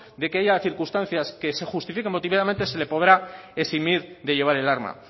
de que haya circunstancias que se justifiquen motivadamente se le podrá eximir de llevar el arma